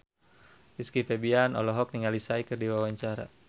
Rizky Febian olohok ningali Psy keur diwawancara